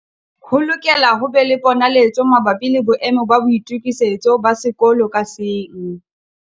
Ho lokela ho be le ponaletso mabapi le boemo ba boitokisetso ba sekolo ka seng.